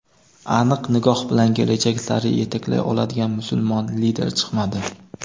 aniq nigoh bilan kelajak sari yetaklay oladigan musulmon lider chiqmadi.